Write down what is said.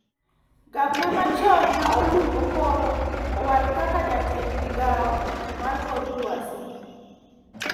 Gabna ma chon ma Olungo koro owal kaka jatend migao mar kor luasi